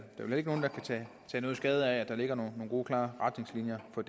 vel ikke nogen der kan tage skade af at der ligger nogle gode klare retningslinjer for